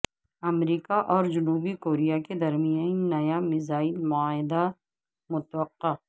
امریکہ اور جنوبی کوریا کے درمیان نیا میزائل معاہدہ متوقع